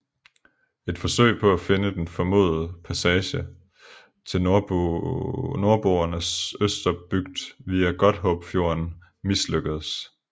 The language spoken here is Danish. Et forsøg på at finde den formodede passage til Nordboernes Østerbygd via Godthåbfjorden mislykkedes